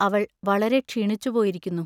അവൾ വളരെ ക്ഷീണിച്ചുപോയിരിക്കുന്നു.